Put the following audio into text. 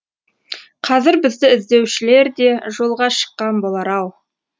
қазір бізді іздеушілер де жолға шыққан болар ау